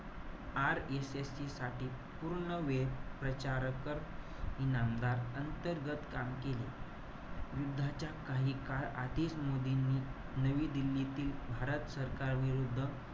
RSSC साठी पूर्णवेळ प्रचारक, इनामदार अंतर्गत काम केले. युद्धाच्या काही काळ आधीच मोदींनी नवी दिल्लीतील भारत सरकारविरुद्ध,